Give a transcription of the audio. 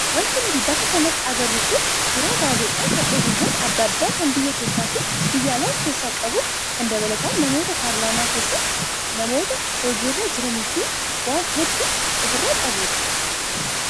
Wanti nuti bakka kanatti agarru kun suuraa gaazexaa kan oduuwwan adda addaa kan biyya keessaa fi biyya alaa of keessaa qabu kan dabalataan namoota paarlaamaa keessaa, namoota hojiirra jiranii fi waan hedduu ofirraa qabudha.